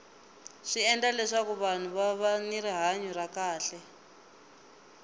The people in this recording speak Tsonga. swi endla leswaku vahnu va va ni rihanya ra kahle